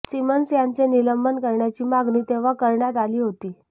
Simmons यांचे निलंबन करण्याची मागणी तेव्हा करण्यात आली होती